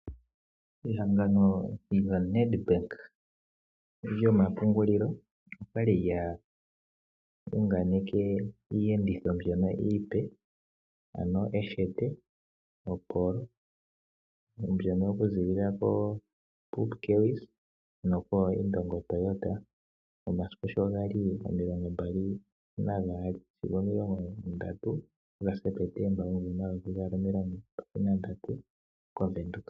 Ehangano lyoNEDBANK lyomapungulilo okwa li lya unganeke iiyenditho mbyono iipe ano Eshete, oPolo mbyono oku ziilila koPupkewitz noko Indongo Toyota momasiku sho gali omilongo mbali nagaali sigo omilongo ndatu gaSeptemba omumvo omayovi gaali nomilongo mbali nandatu koVenduka.